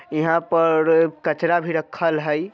यहां पर कचड़ा भी रखल हय।